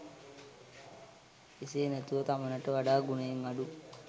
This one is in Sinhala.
එසේ නැතුව තමනට වඩා ගුණයෙන් අඩු